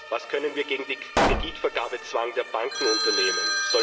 Was können wir gegen den Kreditvergabezwang der Banken unternehmen?